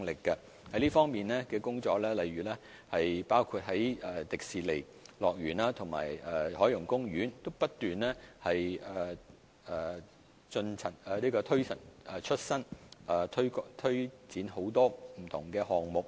這方面的工作包括不斷更新現有景點，例如香港迪士尼樂園和海洋公園不斷推陳出新，推展很多不同的項目。